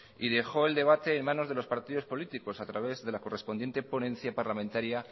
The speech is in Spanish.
y dejó el debate en manos de los partidos políticos a través de la correspondiente ponencia parlamentaria